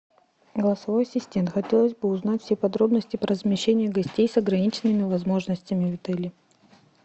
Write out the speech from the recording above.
голосовой ассистент хотелось бы узнать все подробности про размещение гостей с ограниченными возможностями в отеле